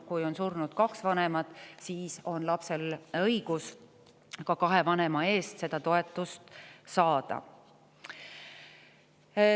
Kui on surnud kaks vanemat, siis on lapsel õigus kahe vanema eest toetust saada.